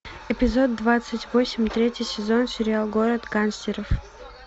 эпизод двадцать восемь третий сезон сериал город гангстеров